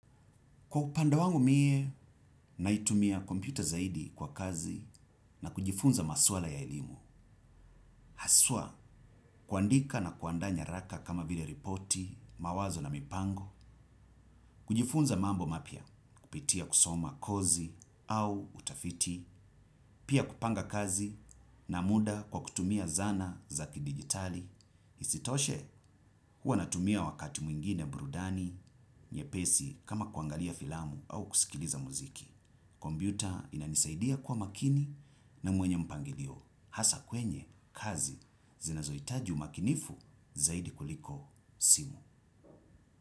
Kwa upanda wangu mie naitumia kompyuta zaidi kwa kazi na kujifunza maswala ya elimu. Haswa kuandika na kuandaa nyaraka kama vile ripoti mawazo na mipango. Kujifunza mambo mapya kupitia kusoma kozi au utafiti pia kupanga kazi na muda kwa kutumia zana za kidijitali. Isitoshe, huwa natumia wakati mwingine burudani nyepesi kama kuangalia filamu au kusikiliza mziki. Kompyuta inanisaidia kwa makini na mwenye mpangilio hasa kwenye kazi zinazohitaji umakinifu zaidi kuliko simu.